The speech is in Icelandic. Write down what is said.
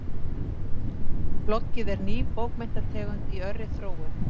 Bloggið er ný bókmenntategund í örri þróun.